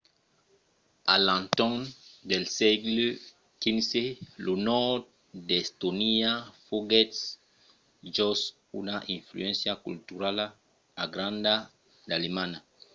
a l’entorn del sègle xv lo nòrd d’estònia foguèt jos una influéncia culturala granda d’alemanha